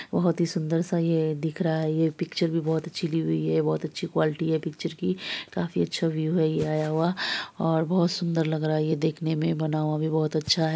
बहुत ही सुन्दर सा ये दिख रहा है ये पिक्चर भी बहुत अच्छी ली हुई है बहुत अच्छी क्वालिटी है पिक्चर की काफी अच्छा व्यू है ये आया हुआ और बहुत सुन्दर लग रहा है ये देखने में बना हुआ भी बहुत अच्छा है।